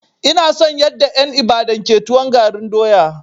Ina son yanda en Ibadan ke tuwon garin doya.